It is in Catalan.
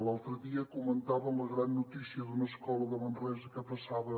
l’altre dia comentaven la gran notícia d’una escola de manresa que passava